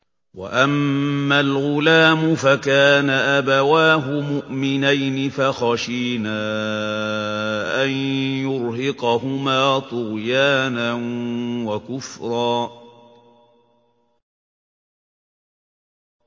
وَأَمَّا الْغُلَامُ فَكَانَ أَبَوَاهُ مُؤْمِنَيْنِ فَخَشِينَا أَن يُرْهِقَهُمَا طُغْيَانًا وَكُفْرًا